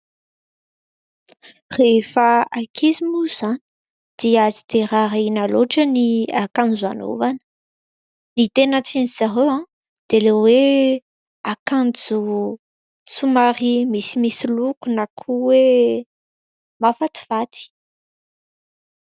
Rehefa ankizy moa izany, dia tsy dia raharahiana loatra ny akanjo anovana. Ny tena tian'dry zareo dia: ilay hoe akanjo somary misimisy loko, na koa hoe mahafatifaty.